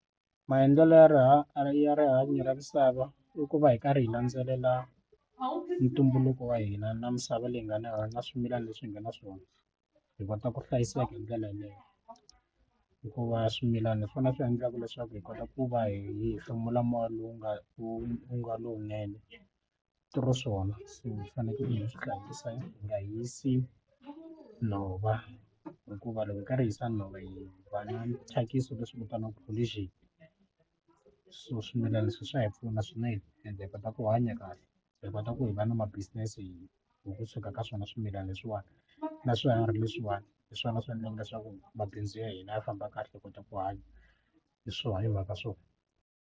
Maendlelo ya rihanyo ya rihanyo ra misava i ku va hi karhi hi landzelela ntumbuluko wa hina na misava leyi nga na na swimilana leswi hi nga na swona hi kota ku hlayiseka hi ndlela yeleyo hikuva swimilana hi swona swi endlaka leswaku hi kota ku va hi hefemula moya lowu u nga u nga lowunene through swona se fanekele swi tlakusa hi nga hisi nhova hikuva loko hi karhi hi swa nhova hi va na thyakisi leswi vitaniwaka pollution so swimilana leswi swa hi pfuna swinene ende hi kota ku hanya kahle hi kota ku hi va na ma business hi ku kusuka ka swona swimilana leswiwani na swiharhi leswiwani hi swona swi endlaka leswaku mabindzu ya hina ya famba kahle hi kota ku hanya hi swona hi mhaka swona.